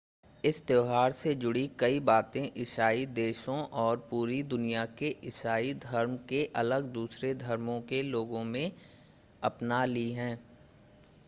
इस त्यौहार से जुड़ी कई बातें ईसाई देशों और पूरी दुनिया में ईसाई धर्म से अलग दूसरे धर्मों के लोगों ने अपना ली हैं